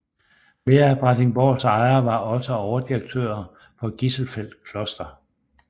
Flere af Brattingsborgs ejere var også overdirektører for Gisselfeld Kloster